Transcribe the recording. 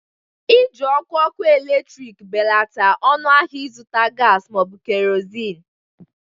iji ọkụ ọkụ eletrik belata ọnụ ahịa ịzụta gas ma ọ bụ kerosenu